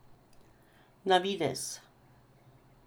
Na videz!